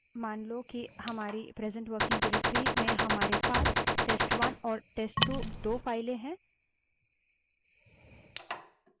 मान लो कि हमारी present working directory में हमारे पास test1 और test2 दो files हैं